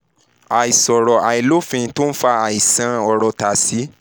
àìṣòro àìlófín tó ń fa àisan orótóstásìììì